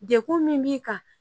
Dekun min b'i kan